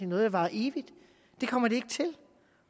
noget der varer evigt det kommer det ikke til